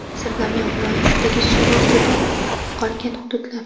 Sirdaryo viloyatidagi suv ostida qolgan hududlar.